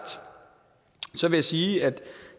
vil jeg sige at